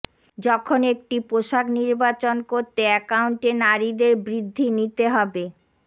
যখন একটি পোষাক নির্বাচন করতে একাউন্টে নারীদের বৃদ্ধি নিতে হবে